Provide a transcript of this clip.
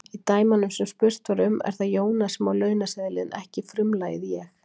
Í dæmunum sem spurt var um er það Jóna sem á launaseðilinn, ekki frumlagið ég.